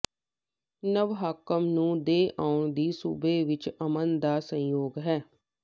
ਨਵ ਹਾਕਮ ਨੂੰ ਦੇ ਆਉਣ ਦੀ ਸੂਬੇ ਵਿਚ ਅਮਨ ਦਾ ਸੰਯੋਗ ਹੈ